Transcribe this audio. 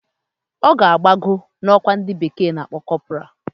Oga rio gbago na okwa ndi bekee na-akpo corporal